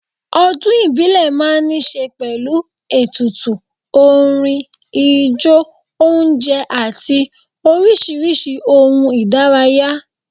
Ọdún ìbílẹ̀ máa ń níṣe pẹ̀lú, ètùtù, orin, ijó, oúnjẹ àti oríṣiríṣi ohun ìdárayá